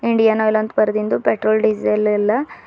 Indian oil ಅಂತ ಬರೆದಿನ್ದು petrol diesel ಎಲ್ಲಾ--